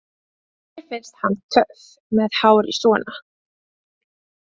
Mér finnst hann töff með hárið svona!